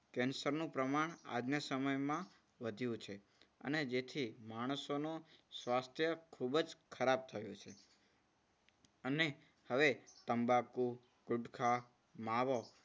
કેન્સરનું પ્રમાણ આજના સમયમાં વધ્યું છે અને જેથી માણસનો સ્વાસ્થ્ય ખૂબ જ ખરાબ થયું છે. અને હવે તંબાકુ ગુટકા માવો